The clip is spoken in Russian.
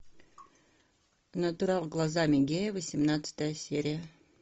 натурал глазами гея восемнадцатая серия